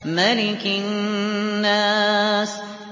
مَلِكِ النَّاسِ